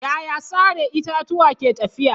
Yaya sare itatuwa ke tafiya?